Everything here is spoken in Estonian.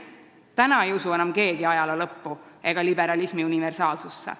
Keegi ei usu enam ajaloo lõppu ega liberalismi universaalsusse.